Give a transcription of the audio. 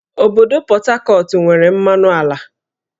Obodo Pọt Hakọt nwere mmanụ ala